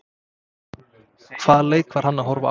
Hvaða leik var hann að horfa á?